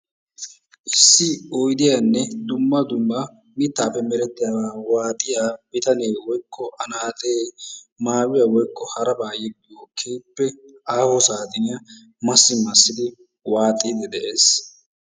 Issi oydiyanne dumma dumma mittaappe meretiyabaa waaxiya bitanee woykko anaaxxee maayuwa woykko haraba yeggiyo keehippe aaho saaxiniya Masi masidi waaxiidi de'ees.